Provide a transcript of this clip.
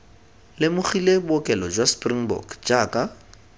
lemogile bookelo jwa springbok jaaka